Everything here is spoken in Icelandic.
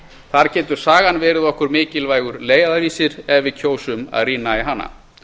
þar getur sagan verið okkur mikilvægur leiðarvísir ef við kjósum að rýna í hana